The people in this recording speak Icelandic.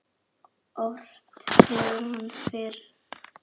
Ort hefur hann fyrr.